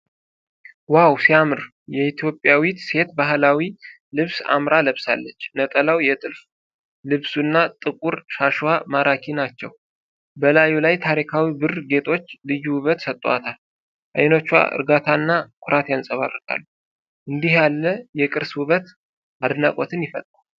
ዋው ሲያምር! ኢትዮጵያዊት ሴት ባህላዊ ልብስ አምራ ለብሳለች። ነጠላው፣ የጥልፍ ልብሱ እና ጥቁር ሻሽዋ ማራኪ ናቸው። በላዩ ላይ የታሪካዊ ብር ጌጦች ልዩ ውበት ሰጥተዋታል። አይኖቿ እርጋታና ኩራት ያንፀባርቃሉ። እንዲህ ያለ የቅርስ ውበት አድናቆትን ይፈጥራል።